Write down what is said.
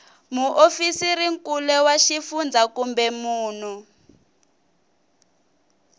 muofisirinkulu wa xifundzha kumbe munhu